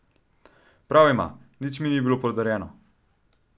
Prav ima, nič mi ni bilo podarjeno.